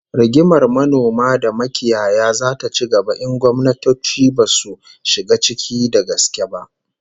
Rigimar manoma da makiyaya zata ci gaba in gwamnatoci basu shiga ciki da gaske ba